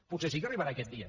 potser sí que arribarà aquest dia